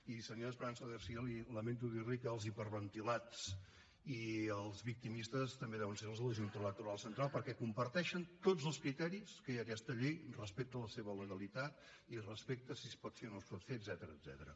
i senyora esperanza garcía lamento dir li que els hiperventilats i els victimistes també deuen ser els de la junta electoral central perquè comparteixen tots els criteris que hi ha a aquesta llei respecte a la seva legalitat i respecte a si es pot fer o no es pot fer etcètera